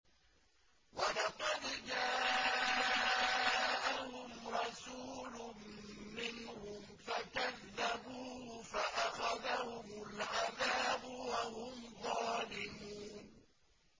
وَلَقَدْ جَاءَهُمْ رَسُولٌ مِّنْهُمْ فَكَذَّبُوهُ فَأَخَذَهُمُ الْعَذَابُ وَهُمْ ظَالِمُونَ